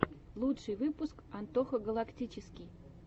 лучший выпуск антоха галактический